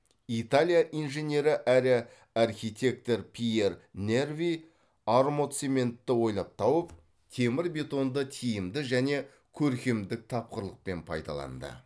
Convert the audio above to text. италия инженері әрі архитектор пьер нерви армоцементті ойлап тауып темір бетонды тиімді және көркемдік тапқырлықпен пайдаланды